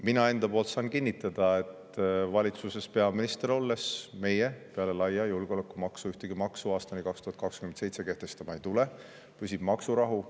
Mina enda nimel saan kinnitada valitsuses peaminister olles, et meie peale laia julgeolekumaksu ühtegi maksu aastani 2027 kehtestama ei tule, püsib maksurahu.